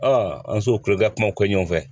an sow kulo ka kuma kɔɲɔfɛ